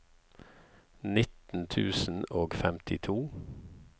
nitten tusen og femtito